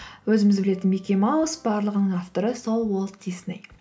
өзіміз білетін микки маус барлығының авторы сол уолт дисней